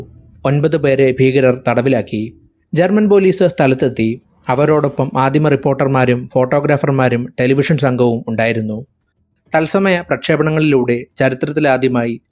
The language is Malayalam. ഒമ്പത് പേരെ ഭീകരർ തടവിലാക്കി german police കാർ സ്ഥലത്തെത്തി. അവരോടൊപ്പം ആദിമ reporter മാരും photographer മാരും Television സംഘവും ഉണ്ടായിരുന്നു. തത്സമയ പ്രക്ഷേപണങ്ങളിലൂടെ ചരിത്രത്തിലാദ്യമായി